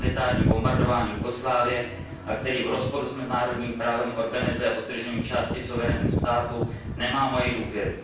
humanitární bombardování Jugoslávie a který v rozporu s mezinárodním právem organizuje odtržení části suverénního státu, nemá moji důvěru.